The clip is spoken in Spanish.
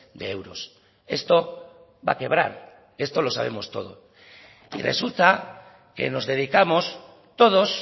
de euros esto va a quebrar esto lo sabemos todos y resulta que nos dedicamos todos